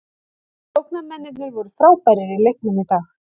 Sóknarmennirnir voru frábærir í leiknum í dag.